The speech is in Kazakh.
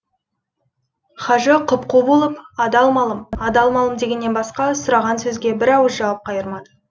хажы құп қу болып адал малым адал малым дегеннен басқа сұраған сөзге бір ауыз жауап қайырмады